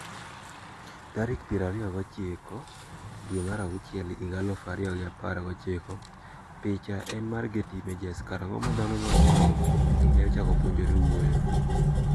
Tarik pier ariyo gi ochiko dwe mar auchiel higa aluf ariyo gi apar gi ochiko Picha en mar Getty Images Karang'o ma dhano machon ne ochako puonjore wuoyo?